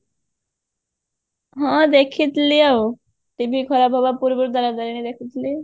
ହଁ ଦେଖିଥିଲି ଆଉ TV ଖରାପ ହବା ଆଗରୁ ଦେଖିଥିଲି ଆଉ